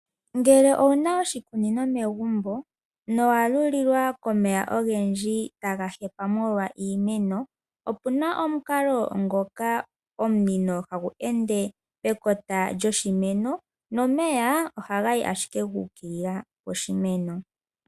Ngele owuna oshikunino megumbo, nowa lulilwa komeya ogendji taga hepa molwa iimeno. Opuna omukalo ngoka omunino hagu ende pekota lyoshimeno, nomeya ohaga yi ashike gu ukilila poshimeno.